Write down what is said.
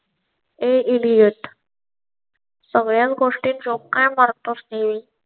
a idiot. सगळ्या गोष्टी joke मारटॉस नेहमी